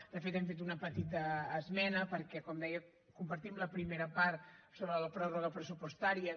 de fet hem fet una petita esmena perquè com deia compartim la primera part sobre la pròrroga pressupostària